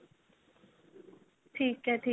ਠੀਕ ਏ ਠੀਕ